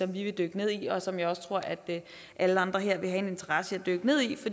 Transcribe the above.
vi vil dykke ned i og som jeg også tror alle andre her vil have en interesse i at dykke ned i